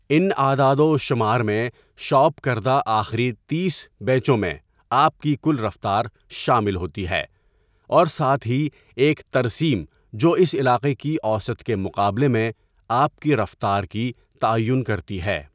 ان اعداد و شمار میں شاپ کردہ آخری تیس بیچوں میں آپ کی کل رفتار شامل ہوتی ہے، اور ساتھ ہی ایک ترسیم جو اس علاقے کی اوسط کے مقابلے میں آپ کی رفتار کی تعیین کرتی ہے۔